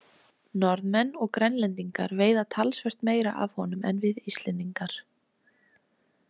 Norðmenn og Grænlendingar veiða talsvert meira af honum en við Íslendingar.